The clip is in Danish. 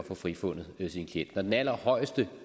få frifundet sin klient når den allerhøjeste